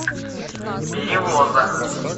перевоза